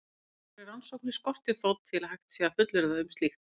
Nánari rannsóknir skortir þó til að hægt sé að fullyrða um slíkt.